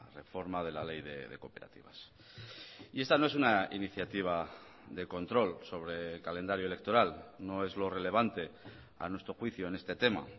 reforma de la ley de cooperativas y esta no es una iniciativa de control sobre el calendario electoral no es lo relevante a nuestro juicio en este tema